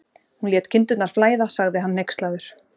Hún lét kindurnar flæða, sagði hann hneykslaður.